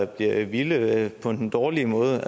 bliver vild på den dårlige måde